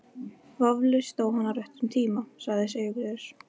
Vafalaust dó hann á réttum tíma, sagði Sigurður.